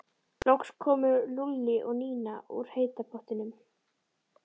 Loks komu Lúlli og Nína úr heita pottinum.